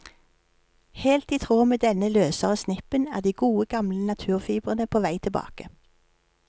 Helt i tråd med denne løsere snippen, er de gode gamle naturfibrene på vei tilbake.